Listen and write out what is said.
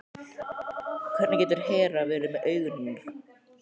Hvernig getur Hera verið með augun hennar?